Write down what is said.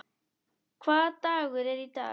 Hvaða dagur er í dag?